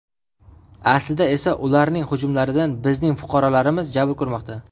Aslida esa ularning hujumlaridan bizning fuqarolarimiz jabr ko‘rmoqda.